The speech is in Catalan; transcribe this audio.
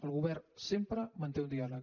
el govern sempre manté un diàleg